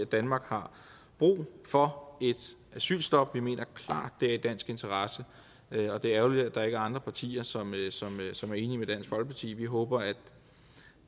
danmark har brug for et asylstop vi mener klart det er i dansk interesse og det er ærgerligt at der ikke er andre partier som som er enige med dansk folkeparti vi håber at